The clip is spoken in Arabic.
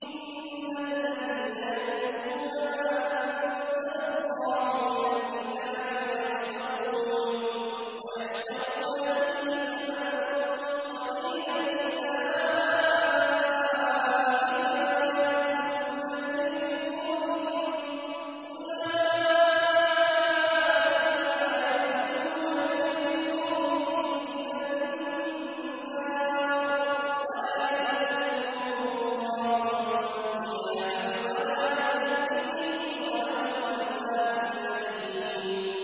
إِنَّ الَّذِينَ يَكْتُمُونَ مَا أَنزَلَ اللَّهُ مِنَ الْكِتَابِ وَيَشْتَرُونَ بِهِ ثَمَنًا قَلِيلًا ۙ أُولَٰئِكَ مَا يَأْكُلُونَ فِي بُطُونِهِمْ إِلَّا النَّارَ وَلَا يُكَلِّمُهُمُ اللَّهُ يَوْمَ الْقِيَامَةِ وَلَا يُزَكِّيهِمْ وَلَهُمْ عَذَابٌ أَلِيمٌ